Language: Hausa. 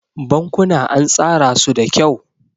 Bankuna an tsara su da kyau.